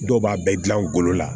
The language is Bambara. Dɔw b'a bɛɛ gilan ngolo la